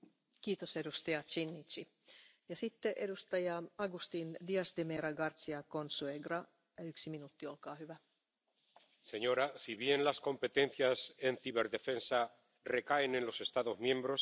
Señora presidenta, si bien las competencias en ciberdefensa recaen en los Estados miembros, es necesario que exista cooperación y coordinación entre todos ellos.